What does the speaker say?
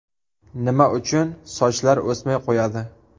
Nima uchun sochlar o‘smay qo‘yadi?.